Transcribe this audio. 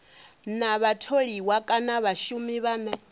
na vhatholiwa kana vhashumi vhane